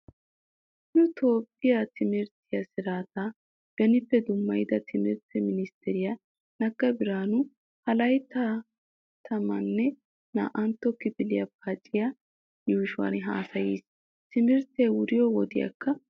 Nu toophphiya timirttiya siraataa benippe dummayida timirtti ministteriya Nagga Biraanuy ha laytta tammanne naa'antta kifiliya paaciya yuushuwan haasayiis. Timirttee wuriyo wodiyaakka odiis.